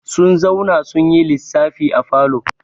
Sun zauna sun yi lissafi a falo.